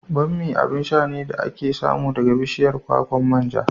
Bammi abin sha ne da ake samu daga bishiyar kwakwan manja.